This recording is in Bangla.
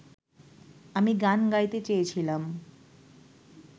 আমি গান গাইতে চেয়েছিলাম